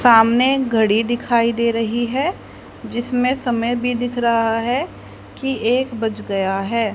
सामने घड़ी दिखाई दे रही है जिसमें समय भी दिख रहा है की एक बज गया है।